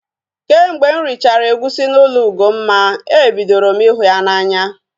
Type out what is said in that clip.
Kemgbe m richara egusi n'ụlọ Ugomma, ebidoro m ihu ya n'anya